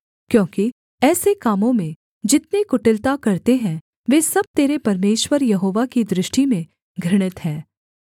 क्योंकि ऐसे कामों में जितने कुटिलता करते हैं वे सब तेरे परमेश्वर यहोवा की दृष्टि में घृणित हैं